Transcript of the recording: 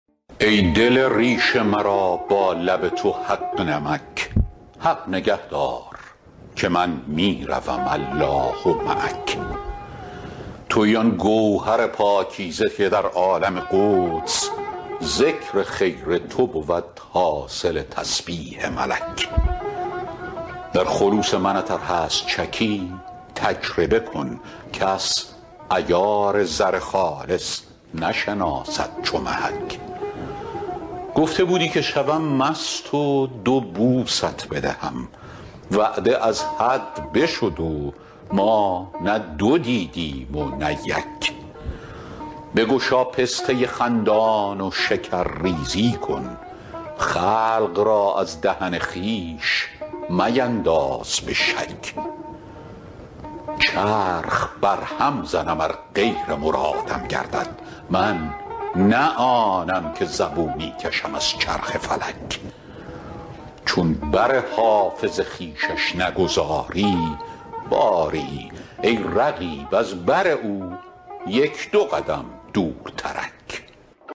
ای دل ریش مرا با لب تو حق نمک حق نگه دار که من می روم الله معک تویی آن گوهر پاکیزه که در عالم قدس ذکر خیر تو بود حاصل تسبیح ملک در خلوص منت ار هست شکی تجربه کن کس عیار زر خالص نشناسد چو محک گفته بودی که شوم مست و دو بوست بدهم وعده از حد بشد و ما نه دو دیدیم و نه یک بگشا پسته خندان و شکرریزی کن خلق را از دهن خویش مینداز به شک چرخ برهم زنم ار غیر مرادم گردد من نه آنم که زبونی کشم از چرخ فلک چون بر حافظ خویشش نگذاری باری ای رقیب از بر او یک دو قدم دورترک